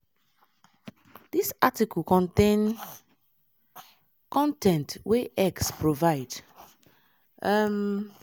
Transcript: dis article contain con ten t wey x provide. um